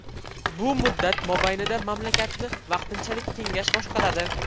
Bu muddat mobaynida mamlakatni vaqtinchalik kengash boshqaradi.